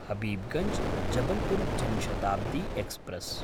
हबीबगंज्–जबलपुर् Jan Shatabdi express